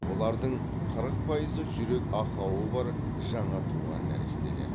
олардың қырық пайызы жүрек ақауы бар жаңа туған нәрестелер